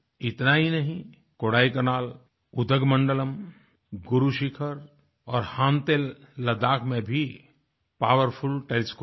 इतना ही नहीं कोडाइकनाल उदघमंडलम गुरू शिखर और हानले लड़ख में भी पावरफुल टेलीस्कोप हैं